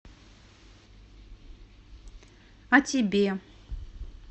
а тебе